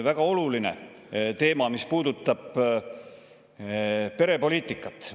Väga oluline teema on see, mis puudutab perepoliitikat.